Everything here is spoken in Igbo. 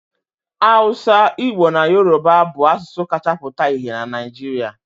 Awụsa, Igbo na Yoruba bụ asụsụ kacha pụta ìhè na Naịjirịa.